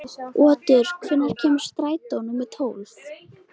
Otur, hvenær kemur strætó númer tólf?